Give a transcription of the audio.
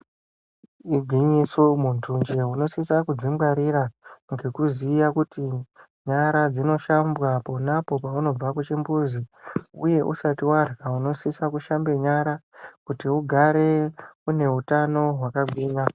Igwinyiso munhu nje kudzingwarira ngekuziya kuti nyara dzvinoshambwa ponapo paunobva kuchimbuzi uye usati warya unosisa kushamba nyara kuti ugare une utano hwakagwinya.